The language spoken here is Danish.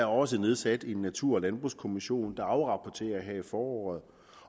også nedsat natur og landbrugskommissionen der afrapporterer her i foråret